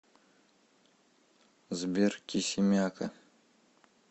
сбер кисимяка